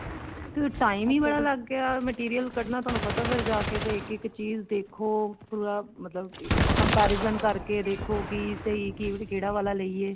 ਤੇ time ਹੀ ਬੜਾ ਲੱਗ ਗਿਆ material ਕੱਡਣਾ ਤੁਹਾਨੂੰ ਪਤਾ ਫ਼ੇਰ ਜਾ ਕੇ ਇੱਕ ਇੱਕ ਚੀਜ਼ ਦੇਖੋ ਪੂਰਾ ਮਤਲਬ comparison ਕਰਕੇ ਦੇਖੋ ਵੀ ਸਹੀ ਕੇ ਕਿਹੜਾ ਵਾਲਾ ਲਈਏ